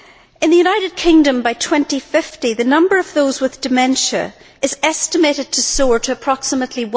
In the United Kingdom, by 2050, the number of those with dementia is estimated to soar to approximately